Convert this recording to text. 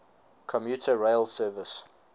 commuter rail service